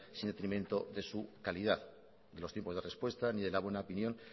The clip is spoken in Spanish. sin detrimento de su calidad los tiempos de respuesta ni de la buena opinión